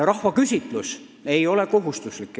Rahvaküsitluse tulemusi ei ole kohustuslik arvestada.